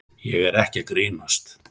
Ég er ekki að grínast.